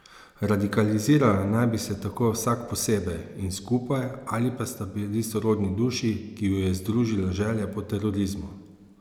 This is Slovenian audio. Radikalizirala naj bi se tako vsak posebej in skupaj ali pa sta bila sorodni duši, ki ju je združila želja po terorizmu.